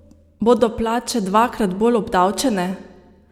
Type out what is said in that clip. Bodo plače dvakrat bolj obdavčene?